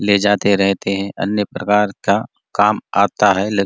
ले जाते रहते है अन्य प्रकार का काम आता है ले--